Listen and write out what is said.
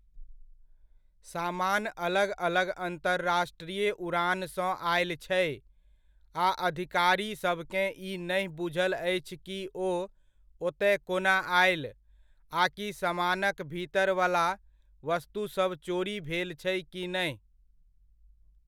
सामान अलग अलग अंतरराष्ट्रीय उड़ानसँ आयल छै आ अधिकारीसभकेँ ई नहि बुझल अछि कि ओ ओतय कोना आयल आकि समानक भीतरवला वस्तुसभ चोरी भेल छै कि नहि।